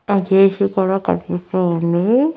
అటు ఇటు కూడా కన్పిస్తూ ఉంది.